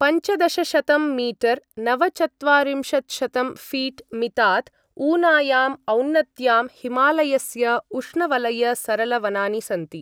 पञ्चदशशतं मीटर् नवचत्वारिंशत्शतं फीट्मि तात् ऊनायाम् औन्नत्यां हिमालयस्य उष्णवलय सरल वनानि सन्ति।